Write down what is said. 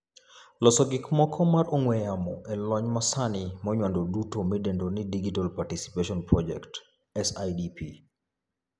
Loso gik somo mar ong'ue yamo e lony manyasani monywando duto midendo ni Digital Participation Project [SIDP].